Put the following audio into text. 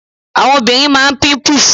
Àwọn obìnrin máa píńpùs